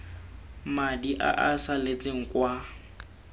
madi a a saletseng kwa